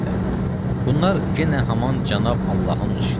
Bunlar yenə haman Cənab Allahın öz işidir.